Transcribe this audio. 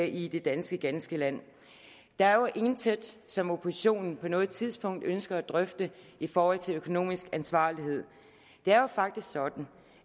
i det ganske danske land der er jo intet som oppositionen på noget tidspunkt har ønsket at drøfte i forhold til økonomisk ansvarlighed det er jo faktisk sådan